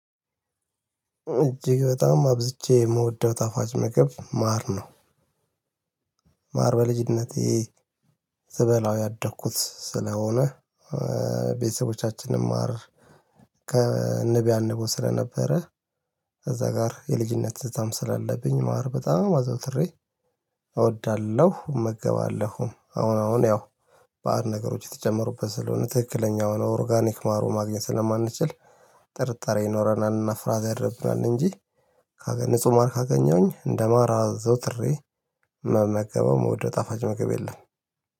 እጅግ በጣም አብዝቼ የምወደው ታፋጭ ምግብ ማር ነው። ማር በልጅነቴ ስበላው ያደኩት ስለሆነ ቤተሰቦቻችንም ማር ከንብ ያነበው ስለነበረ ከዛ ጋር የልጅነት ትዝታም ስላለብኝ ማር በጣም አዘውትሬ እወዳለሁ እመገባለሁም አሁን አሁን ያው ባዕድ ነገሮች የተጀመሩበት ስለሆነ ትክክለኛ የሆነ ኦርጋኒክ ማር ማግኘት ስለማንችል ጥርጣሬ ይኖረናልና ፍራዝ ያደርግናል እንጂ ንጹህ ማር ካገኘሁኝ እንደማር አዘውትሬ ምመገበው ወደ ጣፋጭ መገብ የለም።